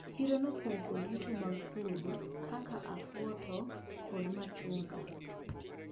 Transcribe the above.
Chiro nopong` kod yuto mag puodho kaka afuoto kod machunga.